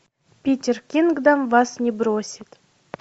питер кингдом вас не бросит